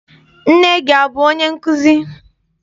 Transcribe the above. Nne gị abụ onye nkụzi?